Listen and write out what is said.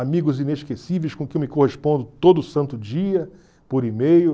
Amigos inesquecíveis com quem eu me correspondo todo santo dia, por e-mail.